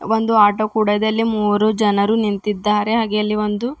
ಒಂದು ಆಟೋ ಕೂಡ ಇದೆ ಅಲ್ಲಿ ಮೂರು ಜನರು ನಿಂತಿದ್ದಾರೆ ಹಾಗೆ ಅಲ್ಲಿ ಒಂದು --